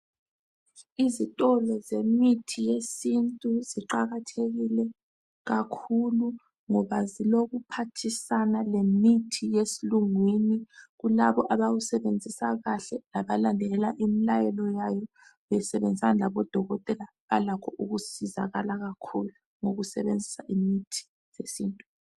Izitolo zemithi yesintu ziqakathekile kakhulu ngoba zilokuphathisana lemithi yesilungwini kulabo abawusebenzisa kahle labalandelela imilayelo yayo besebenzisana labodokotela balakho ukusizakala kakhulu ngokusebenzisa imithi yesintu.